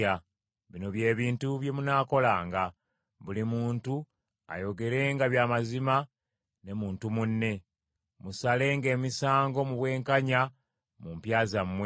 Bino bye bintu bye munaakolanga: buli muntu ayogerenga bya mazima ne muntu munne, musalenga emisango mu bwenkanya mu mpya zammwe;